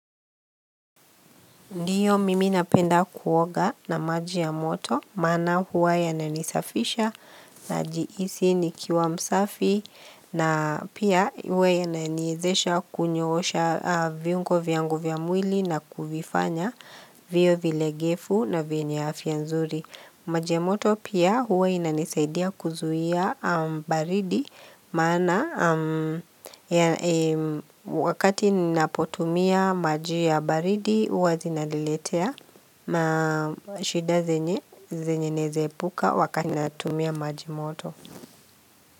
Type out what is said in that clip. Ndiyo mimi napenda kuoga na maji ya moto, maana huwa yananisafisha najihisi nikiwa msafi na pia huwa yananiezesha kunyoosha viungo vyangu vya mwili na kuvifanya viwe vilegefu na vyenye afya nzuri. Maji moto pia huwa inanisaidia kuzuia baridi Maana wakati ninapotumia maji ya baridi huwa zinaliletea ma shida zenye naeze epuka wakati ninatumia maji moto.